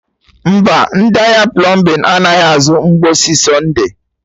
Mba, ndị ahịa plọmbin anaghị azụ mgbọsị Sọnde